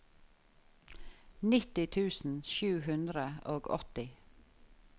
nitti tusen sju hundre og åtti